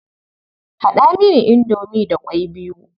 Haɗa mini indomi da ƙwai biyu.